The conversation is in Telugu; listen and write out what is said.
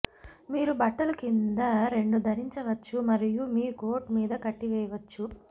మీరు బట్టలు కింద రెండు ధరించవచ్చు మరియు మీ కోట్ మీద కట్టివేయవచ్చు